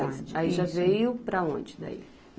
Aí, já veio para onde daí?